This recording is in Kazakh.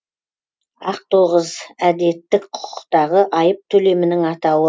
ақтоғыз әдеттік құқықтағы айып төлемінің атауы